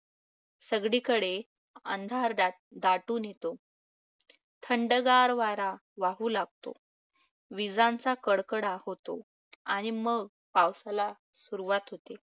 सगळीकडे अंधार दाट~ दाटून येतो. थंडगार वारा वाहू लागतो. विजांचा कडकडाट होतो. आणि मग पावसाला सुरुवात होते.